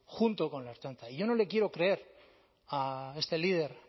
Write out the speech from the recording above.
junto con la ertzaintza y yo no le quiero creer a este líder